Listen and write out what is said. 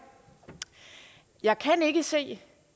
jeg kan ikke se